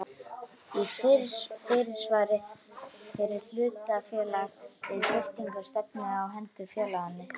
í fyrirsvari fyrir hlutafélag við birtingu stefnu á hendur félaginu.